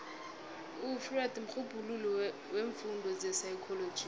ufreud mrhubhululi weemfundo zepsychology